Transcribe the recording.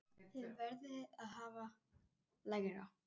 Þið verðið að hafa lægra.